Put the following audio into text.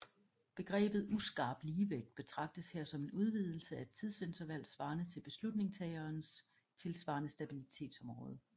Begrebet uskarp ligevægt betragtes her som en udvidelse af et tidsinterval svarende til beslutningstagerens tilsvarende stabilitetsområde